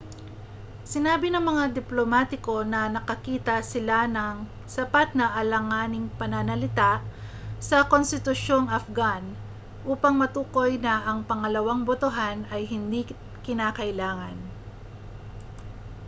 sinabi ng mga diplomatiko na nakakita sila ng sapat na alanganing pananalita sa konstitusyong afghan upang matukoy na ang pangalawang botohan ay hindi kinakailangan